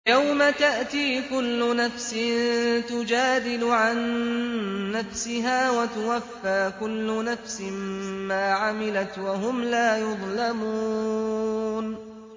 ۞ يَوْمَ تَأْتِي كُلُّ نَفْسٍ تُجَادِلُ عَن نَّفْسِهَا وَتُوَفَّىٰ كُلُّ نَفْسٍ مَّا عَمِلَتْ وَهُمْ لَا يُظْلَمُونَ